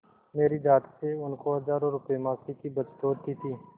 मेरी जात से उनको हजारों रुपयेमासिक की बचत होती थी